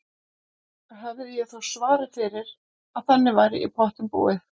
Og hefði ég þó svarið fyrir að þannig væri í pottinn búið.